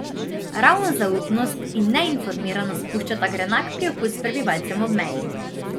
Ravno zaupnost in neinformiranost puščata grenak priokus prebivalcem ob meji.